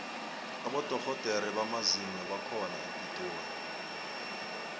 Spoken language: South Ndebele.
abodorhodere bamazinyo bakhona epitori